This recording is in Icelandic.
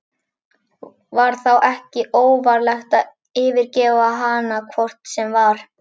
Var þá ekki óvarlegt að yfirgefa hana hvort sem var?